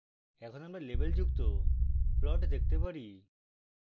এখন আমরা লেবেলযুক্ত plot দেখতে পারি